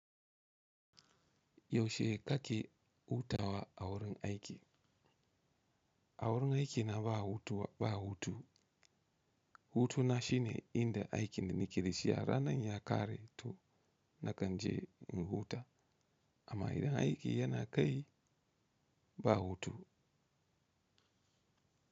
Yaushe kaki hutawa a wurin aiki? A wurin aiki na ba hutu, ba hutu. Hutu na shine inda aikin da nake da shi a ranar ya kare, to nakan je in hutu amma idan aiki yana kai, ba hutu.